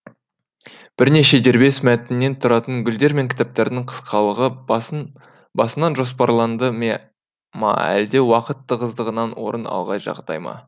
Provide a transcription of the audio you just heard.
бірнеше дербес мәтіннен тұратын гүлдер мен кітаптардың қысқалығы басынан жоспарланды ма әлде уақыт тығыздығынан орын алған жағдай ма